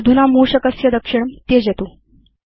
अधुना मूषकस्य दक्षिणं त्यजतु